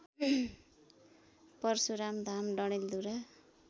Parshuram Dham Dadeldhura